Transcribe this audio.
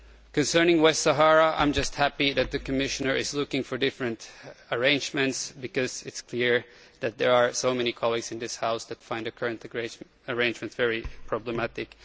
Concerning the Western Sahara, I am happy that the Commissioner is looking for different arrangements, because it is clear that there are so many colleagues in this House that find the current arrangements very problematic.